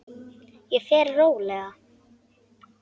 Ég verð róleg.